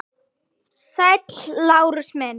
Sæll, Lárus minn.